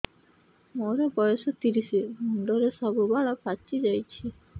ମୋର ବୟସ ତିରିଶ ମୁଣ୍ଡରେ ସବୁ ବାଳ ପାଚିଯାଇଛି